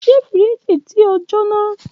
Ṣe firiji ti o jona?